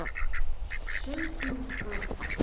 шенкурском